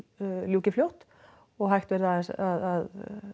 ljúki fljótt og hægt verði að